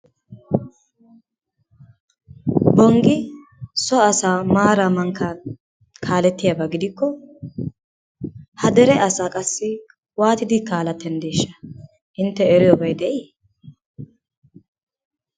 Bonggi so asaa maaran mankkan kaaleettiyaba gidikko ha dere asaa qassi waattidi kaalettanddeesha intte eriyobay de'ii?